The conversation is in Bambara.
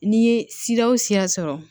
N'i ye siya o siya sɔrɔ